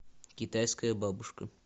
китайская бабушка